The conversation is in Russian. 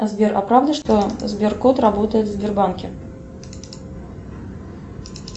сбер а правда что сберкот работает в сбербанке